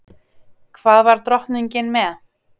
Hvað var drottningin með?